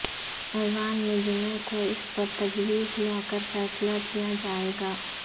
ایوان میں جمعہ کو اس پر تجویز لاکر فیصلہ کیا جائے گا